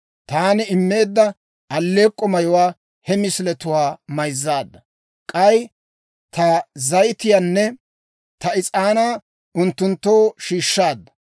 Taani immeedda alleek'k'o mayuwaa he misiletuwaa mayzzaadda. K'ay ta zayitiyaanne ta is'aanaa unttunttoo shiishshaadda.